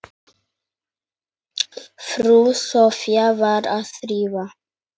Frú Soffía var að þrífa.